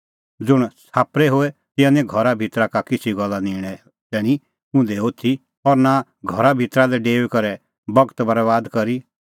ज़ुंण छ़ाप्परै होए तिंयां निं घरा भितरा का किछ़ी गल्ला निंणे तैणीं उंधै होथी और नां घरा भितरा लै डेऊई करै बगत बरैबाद करी